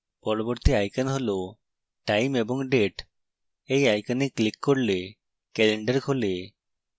পরবর্তী icon হল time এবং date